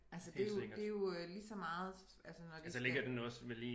Altså det er jo det er jo øh lige så meget altså når de skal